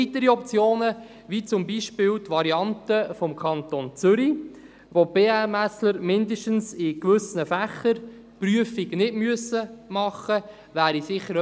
Weitere Optionen, wie beispielsweise die Variante des Kantons Zürich, wo die BMSAbsolventen zumindest in gewissen Fächern keine Prüfung absolvieren müssen, wären zu prüfen.